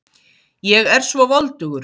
Ég er svo voldugur.